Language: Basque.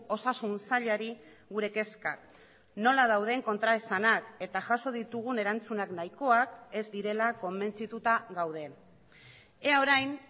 osasun sailari gure kezkak nola dauden kontraesanak eta jaso ditugun erantzunak nahikoak ez direla konbentzituta gaude ea orain